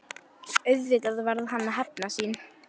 Auðvitað varð hann að hefna sín.